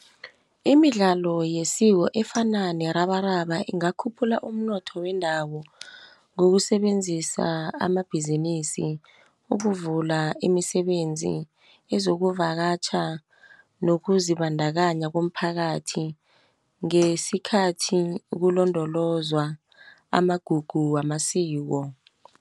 Imidlalo yesiko efana nerabaraba ingakhuphula umnotho wendawo. Ngokusebenzisa amabhizinisi, ukuvula imisebenzi, ezokuvakatjha, nokuzibandakanya komphakathi, ngesikhathi kulondolozwa amagugu wamasiko.